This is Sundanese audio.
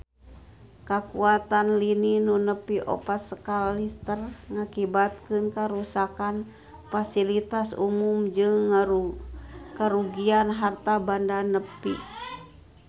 Kakuatan lini nu nepi opat skala Richter ngakibatkeun karuksakan pasilitas umum jeung karugian harta banda nepi ka 60 triliun rupiah